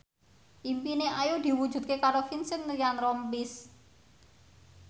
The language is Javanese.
impine Ayu diwujudke karo Vincent Ryan Rompies